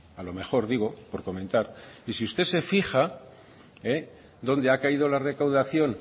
a lo mejor digo por comentar y si usted se fija donde ha caído la recaudación